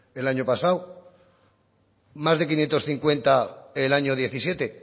el año pasado más de quinientos cincuenta el año diecisiete